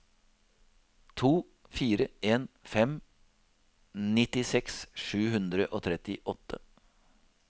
to fire en fem nittiseks sju hundre og trettiåtte